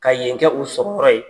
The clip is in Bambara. Ka yen kɛ u sɔrɔ yƆrƆ ye.